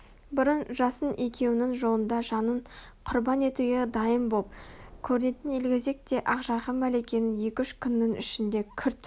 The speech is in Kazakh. бұрын жасын екеуінің жолында жанын құрбан етуге дайын боп көрінетін елгезек те ақ жарқын мәликенің екі-үш күннің ішінде күрт